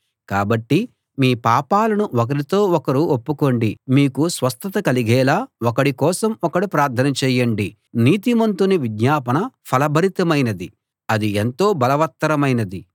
కాబట్టి మీ పాపాలను ఒకరితో ఒకడు ఒప్పుకోండి మీకు స్వస్థత కలిగేలా ఒకడి కోసం ఒకడు ప్రార్థన చేయండి నీతిమంతుని విజ్ఞాపన ఫలభరితమైనది అది ఎంతో బలవత్తరమైనది